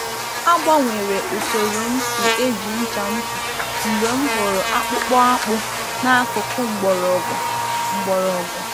A gbanwere usoro m si eji ncha ntutu mgbe m hụrụ akpụkpọ akpụ n’akụkụ mgbọrọgwụ. mgbọrọgwụ.